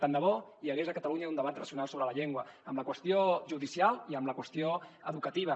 tant de bo hi hagués a catalunya un debat racional sobre la llengua en la qüestió judicial i en la qüestió educativa